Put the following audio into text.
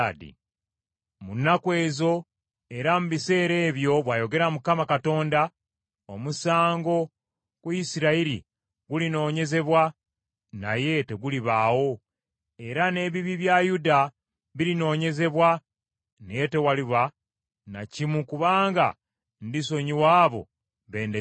Mu nnaku ezo, era mu biseera ebyo,” bw’ayogera Mukama Katonda, “omusango ku Isirayiri gulinoonyezebwa, naye tegulibaawo, era n’ebibi bya Yuda birinoonyezebwa, naye tewaliba na kimu, kubanga ndisonyiwa abo bendeseewo.